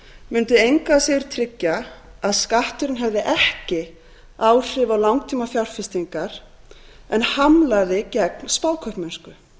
mundi engu að síður tryggja að skatturinn hefði ekki áhrif á langtímafjárfestingar en hamlaði gegn spákaupmennsku